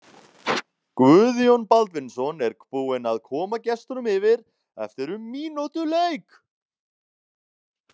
Guðjón Baldvinsson er búinn að koma gestunum yfir eftir um mínútu leik!